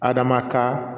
Adama ka